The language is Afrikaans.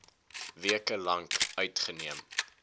weke lank uitgeneem